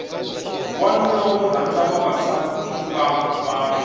wanuna wo rhanda vavasativa vanhu